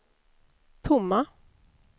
tomma